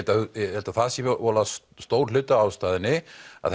held að það sé voðalega stór hluti af ástæðunni